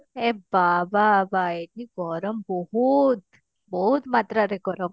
ଏ ବାବା ଭାଇ କି ଗରମ ବହୁତ ବହୁତ ମାତ୍ରା ରେ ଗରମ